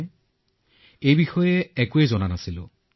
আৰু এই বিষয়ে ভালকৈ গমো পোৱা নাছিলো